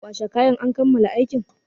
Kwashe kayan! an kammala aikin.